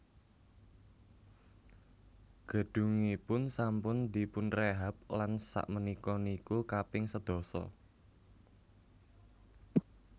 Gedungipun sampun dipunrehab lan sak menika niku kaping sedasa